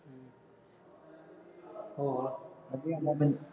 ਹਾਂ ਵਧੀਆ